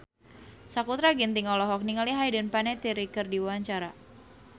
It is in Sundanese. Sakutra Ginting olohok ningali Hayden Panettiere keur diwawancara